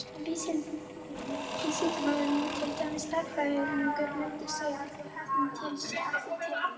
Vísindamaður, til dæmis stærðfræðingur, mundi segja þér að heppni sé ekki til.